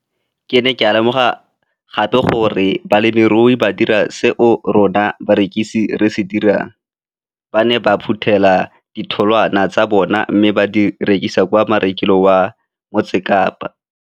Ke ne ka lemoga gape gore balemirui ba dira seo rona barekisi re se dirang, ba ne ba phuthela ditholwana tsa bona mme ba di rekisa kwa marakeng wa Motsekapa.